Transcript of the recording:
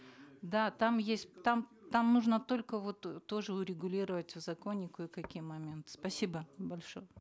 да там есть там там нужно только вот тоже урегулировать в законе кое какие моменты спасибо большое